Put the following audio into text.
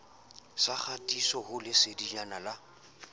sa kgatiso ho lesedinyana la